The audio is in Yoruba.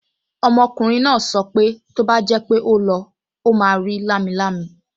Ọmọkùnrin náà sọ pé tó bá jẹ́ pé ó lọ, ó máa rí lámilámi